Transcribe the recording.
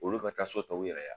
Olu ka taa so ta u yɛrɛ ye a.